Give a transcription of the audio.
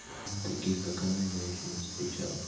таких как она я ещё не встречал